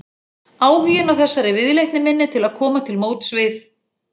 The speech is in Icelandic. Hann tók laust í framrétta hönd höfuðsmannsins og gekk út í myrkrið.